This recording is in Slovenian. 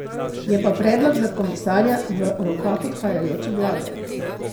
Je pa predlog za komisarja v rokah odhajajoče vlade.